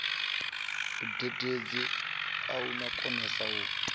mudededzi a no konesa u